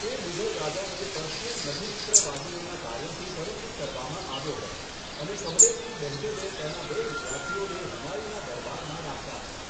તે મુઘલ રાજાને પર્શિયન લઘુચિત્રવાદીઓના કાર્યોથી પરિચિત કરવામાં આવ્યો હતો, અને કમલેદ્દીન બેહઝદે તેના બે વિદ્યાર્થીઓને હુમાયુના દરબારમાં રાખ્યા હતા.